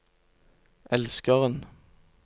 elskeren